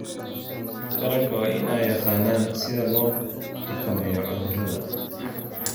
Taranka waa in ay yaqaanaan sida loo xakameeyo cudurrada.